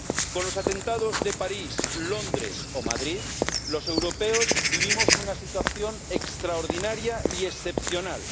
Con los atentados de París, Londres o Madrid los europeos vivimos una situación extraordinaria y excepcional.